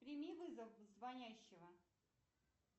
прими вызов звонящего